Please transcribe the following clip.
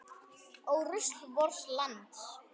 Ó rusl vors lands.